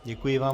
Děkuji vám.